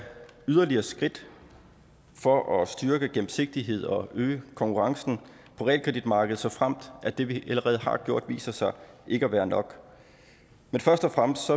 yderligere skridt for at styrke gennemsigtighed og øge konkurrencen på realkreditmarkedet såfremt at det vi allerede har gjort viser sig ikke at være nok men først og fremmest